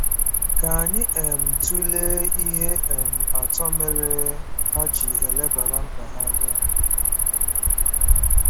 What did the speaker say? Ka anyị um tụlee ihe um atọ mere ha ji elebara mkpa ha anya.